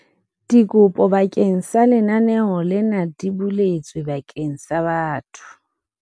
Dikopo bakeng sa lenaneo lena di buletswe bakeng sa batho